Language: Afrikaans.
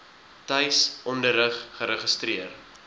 tuis onderrig geregistreer